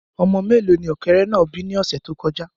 Ọmọ mélòó ni ọ̀kẹ́rẹ́ náà bí ni ọ̀sẹ̀ tó kọjá